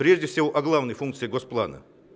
о главные функции госплана